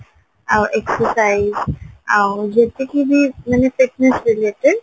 ଆଉ exercise ଆଉ ଯେତିକି ବି ମାନେ fitness related